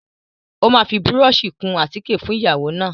Ó máa fi búrọ́ọ̀ṣì kun àtíkè fún ìyàwó náà.